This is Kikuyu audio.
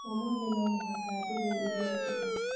Ũmũthĩ no mũhaka nduge irio njega